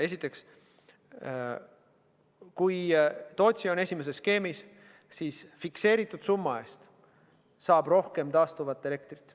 Esiteks, kui Tootsi on esimeses skeemis, siis fikseeritud summa eest saab rohkem taastuvat elektrit.